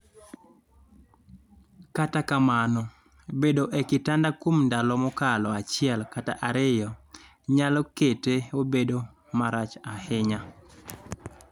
kata kamano, bet e kitanda kuom ndalo mokalo achiel kata ariyo nyalo kete obed marach ahinya